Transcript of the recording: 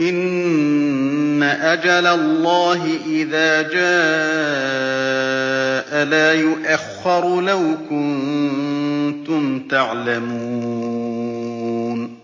إِنَّ أَجَلَ اللَّهِ إِذَا جَاءَ لَا يُؤَخَّرُ ۖ لَوْ كُنتُمْ تَعْلَمُونَ